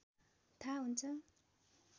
थाहा हुन्छ